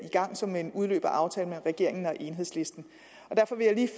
i gang som en udløber af aftalen mellem regeringen og enhedslisten derfor vil jeg lige